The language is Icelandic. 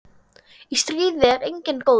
Í stríði er enginn góður.